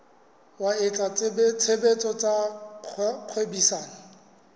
wa etsa tshebetso tsa kgwebisano